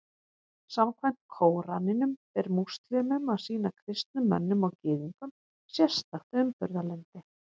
Samkvæmt Kóraninum ber múslímum að sýna kristnum mönnum og Gyðingum sérstakt umburðarlyndi.